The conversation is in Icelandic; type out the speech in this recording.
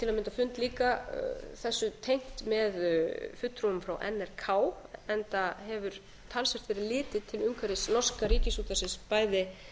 mynda fund líka þessu tengt með fulltrúum frá nrk enda hefur talsvert verið litið til umhverfis norska ríkisútvarpsins bæði